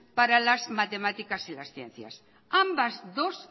para las matemáticas y las ciencias ambas dos